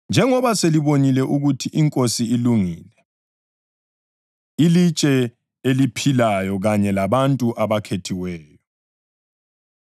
njengoba selibonile ukuthi iNkosi ilungile. ILitshe Eliphilayo Kanye Labantu Abakhethiweyo